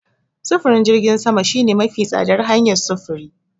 Sufurin jirgin sama shine mafi tsadar hanyar sufuri.